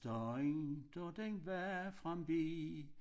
Dagen da den var forbi